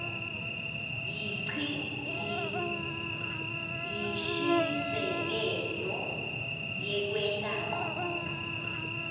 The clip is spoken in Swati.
yinshisekelo yekwenta ncono